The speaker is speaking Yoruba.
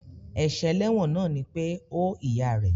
Èsè eléwòn náà ni pe ó ìyá rè